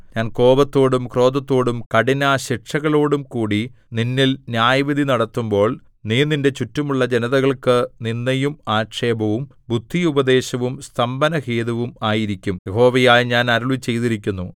ഞാൻ കോപത്തോടും ക്രോധത്തോടും കഠിനശിക്ഷകളോടും കൂടി നിന്നിൽ ന്യായവിധി നടത്തുമ്പോൾ നീ നിന്റെ ചുറ്റുമുള്ള ജനതകൾക്കു നിന്ദയും ആക്ഷേപവും ബുദ്ധിയുപദേശവും സ്തംഭനഹേതുവും ആയിരിക്കും യഹോവയായ ഞാൻ അരുളിച്ചെയ്തിരിക്കുന്നു